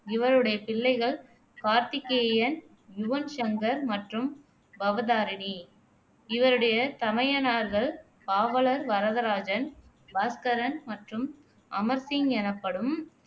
இவருடைய பிள்ளைகள் கார்த்திகேயன், யுவன் சங்கர் மற்றும் பவதாரிணி இவருடைய தமையனார்கள் பாவலர் வரதராஜன், பாஸ்கரன் மற்றும் அமர் சிங் எனப்படும்